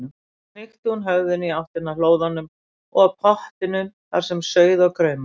Svo hnykkti hún höfðinu í áttina að hlóðunum og pottinum þar sem sauð og kraumaði.